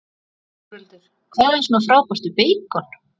Þórhildur: Hvað er svona frábært við beikon?